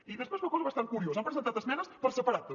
i després una cosa bastant curiosa han presentat esmenes per separat també